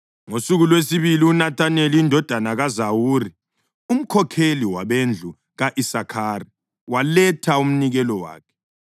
Ngosuku lwesibili uNethaneli indodana kaZuwari umkhokheli wabendlu ka-Isakhari, waletha umnikelo wakhe.